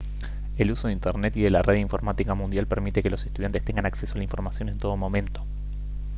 el uso de internet y de la red informática mundial permite que los estudiantes tengan acceso a la información en todo momento